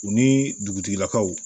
U ni dugutigilakaw